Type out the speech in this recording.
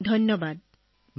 বহুত ধন্যবাদ ছাৰ